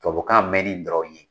Tubabukan mɛnni dɔrɔn ye